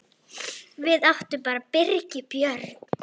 Við áttum bara Birgi Björn.